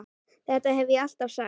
Þetta hef ég alltaf sagt!